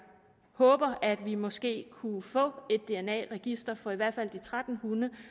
håber at vi måske kunne få et dna register for i hvert fald de tretten